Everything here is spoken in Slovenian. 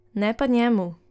Ne pa njemu.